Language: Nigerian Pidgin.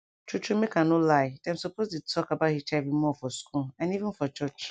true truemake i no lie dem suppose dey talk about hiv more for school and even for church